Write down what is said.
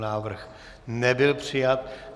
Návrh nebyl přijat.